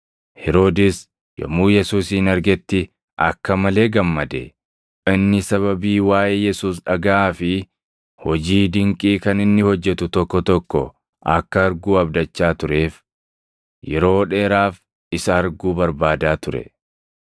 Heroodis yommuu Yesuusin argetti akka malee gammade; inni sababii waaʼee Yesuus dhagaʼaa fi hojii dinqii kan inni hojjetu tokko tokko akka arguu abdachaa tureef yeroo dheeraaf isa arguu barbaadaa ture.